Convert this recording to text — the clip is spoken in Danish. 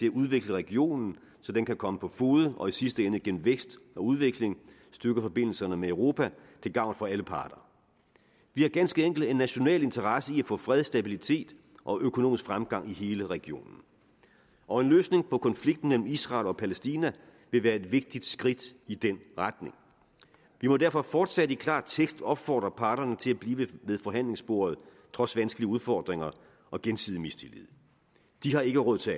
at udvikle regionen så den kan komme på fode og i sidste ende gennem vækst og udvikling styrke forbindelserne med europa til gavn for alle parter vi har ganske enkelt en national interesse i at få fred stabilitet og økonomisk fremgang i hele regionen og en løsning på konflikten mellem israel og palæstina vil være et vigtigt skridt i den retning vi må derfor fortsat i klar tekst opfordre parterne til at blive ved forhandlingsbordet trods vanskelige udfordringer og gensidig mistillid de har ikke råd til